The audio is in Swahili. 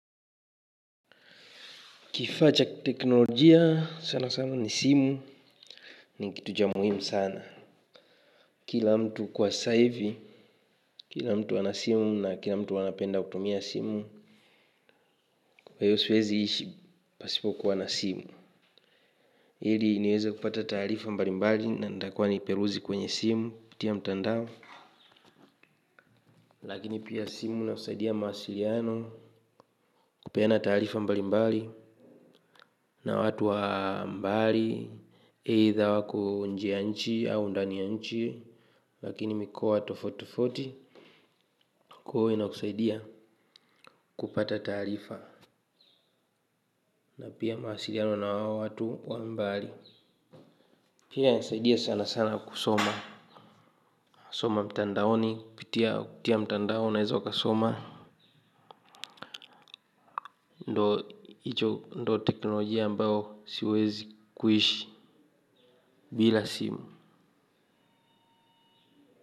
Kifaa cha teknolojia sana sana ni simu ni kitu cha muhimu sana. Kila mtu kwa sasa hivi kila mtu ana simu na kila mtu anapenda kutumia simu. Kwa hiyo siwezi ishi pasipo kuwa na simu. Ili niweze kupata taarifa mbali mbali na ntakuwa niperuzi kwenye simu kuputia mtandao. Lakini pia simu ina saidia mawasiliano kupeana taarifa mbalimbali na watu wa mbali. Aitha wako nje ya nchi au ndani ya nchi lakini mikoa tofauti tofauti ina kusaidia kupata taarifa na pia mawasiliano na wao watu wa mbali. Pia ina saidia sana sana kusoma. Soma mtandaoni. Kupitia mtandaoni unawezo ukasoma. Ndo teknolojia ambayo siwezi kuishi bila simu.